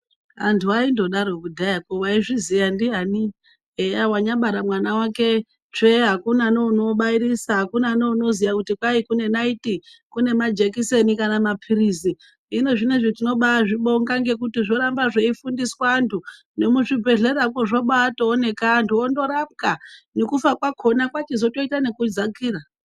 Antu ainondaro kudhayakwo, waizviziya ndiani eya wanyabara mwana wake tsve akuna neunobairisa, akuna neunoziya kuti kwai kune naiti kune majekiseni kana maphirizi, hino zvinezvi tinobazvibonga ngekuyi zvoramba zveifundiswa antu nemuzvi bhehlerakwo zvobatoonekwa antu ondorapwa nekufa kwakhona kwachizotoita nekudzakira.